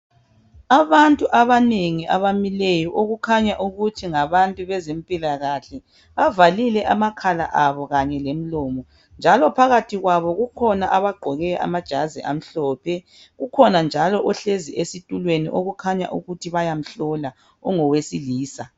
Abantu abanengi abamileyo okukhanya ukuthi ngabantu bezempilakahle bavalile amakhala abo kanye lemlomo njalo phakathi kwabo kukhona abagqoke amajazi amhlophe kukhona njalo ohlezi esitulweni okukhanya ukuthi bayamhlola ungowesilisa